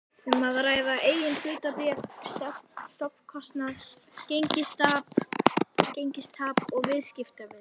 um að ræða eigin hlutabréf, stofnkostnað, gengistap og viðskiptavild.